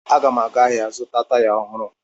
Aga m aga ahịa zụta taya ohụrụ